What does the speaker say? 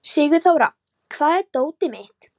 Sigurþóra, hvar er dótið mitt?